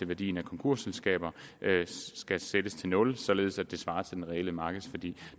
værdien af konkursselskaber skal sættes til nul således at den svarer til den reelle markedsværdi